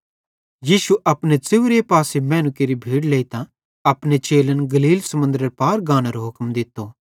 यीशुए अपने च़ेव्रे पासन मैनू केरि भीड़ लेइतां अपने चेलन गलील समुन्दरे पार गानेरो हुक्म दित्तो